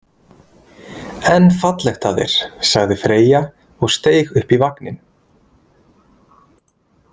En fallegt af þér, sagði Freyja og steig upp í vagninn.